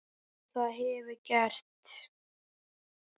Og það hefurðu gert.